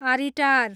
आरिटार